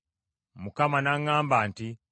Mukama n’aŋŋamba nti,